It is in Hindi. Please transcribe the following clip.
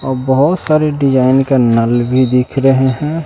और बहुत सारी डिजाइन के नल भी दिख रहे हैं।